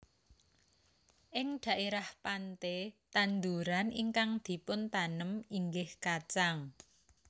Ing dhaerah pante tanduran ingkang dipuntanem inggih kacang